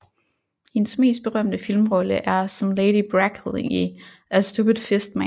Hendes mest berømte filmrolle er som Lady Bracknell i A Stupid Fistman